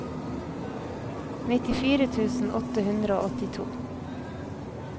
nittifire tusen åtte hundre og åttito